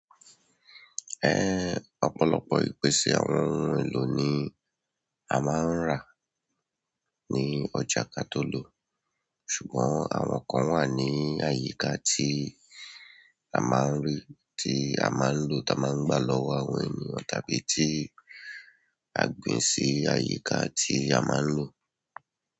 Ẹ̀, ọ̀pọ̀lọpọ̀ ìpèsè àwọn ohun èlò ni a máa ń rà ní ọjà kató lọ, ṣùgbọ́n àwọn kan wà ní àyíká tí a máa ń rí, tí a máa ń lò tá máa ń gbà lọ́wọ́ àwọn ènìyàn tàbí tí a gbìn sí àyíká tí a máa ń lò.